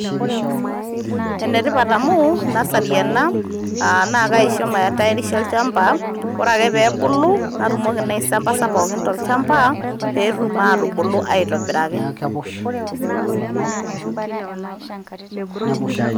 Ene tipat amu nasari ena naa kaisho maitayarisha olnchampa ore ake pee ebulu natumokii naa aisambasa pookin tolchampa peetum aatubulu aitobiraki.